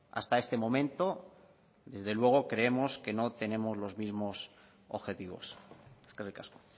hasta este momento desde luego creemos que no tenemos los mismos objetivos eskerrik asko